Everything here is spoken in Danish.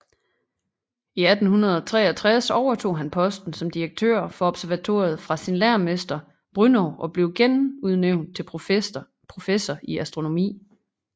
I 1863 overtog han posten som direktør for observatoriet fra sin lærermester Brünnow og blev genudnævnt til professor i astronomi